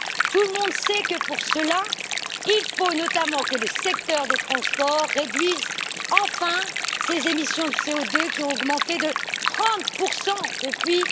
Tout le monde sait que, pour cela, il faut notamment que le secteur des transports réduise enfin ses émissions de CO2 qui ont augmenté de 30 depuis